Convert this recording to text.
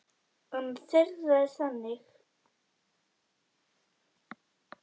Ein þeirra er þannig